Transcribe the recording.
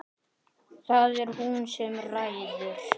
Það er hún sem ræður.